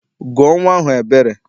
Gụọ nnwa ahụ Ebere!